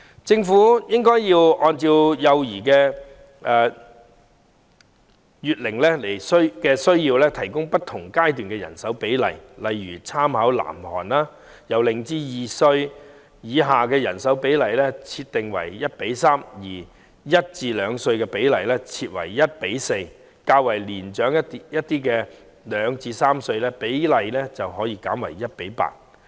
政府應按幼兒的月齡需要提供不同階段的人手比例，例如參考南韓的做法，將0至2歲以下幼兒的照顧人手比例設為 1：3，1 至2歲幼兒的照顧人手比例設為 1：4， 而較年長的2至3歲幼兒的照顧人手比例則可設為 1：8。